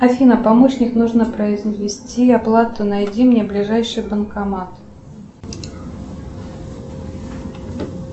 афина помощник нужно произвести оплату найди мне ближайший банкомат